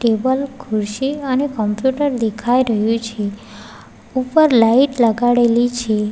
ઉપર ખુરશી અને કોમ્પ્યુટર દેખાઈ રહ્યુ છે ઉપર લાઈટ લગાડેલી છે.